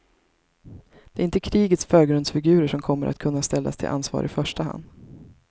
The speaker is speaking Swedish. Det är inte krigets förgrundsfigurer som kommer att kunna ställas till ansvar i första hand.